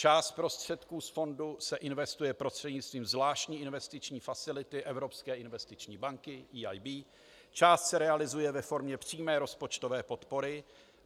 Část prostředků z fondu se investuje prostřednictvím zvláštní investiční facility Evropské investiční banky, EIB, část se realizuje ve formě přímé rozpočtové podpory.